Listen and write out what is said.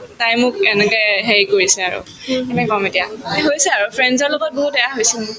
তাই মোক এনেকে হেৰি কৰিছে আৰু কেনেকে কম এতিয়া হৈছে আৰু friends ৰ লগত বহুত এয়া হৈছে মোৰ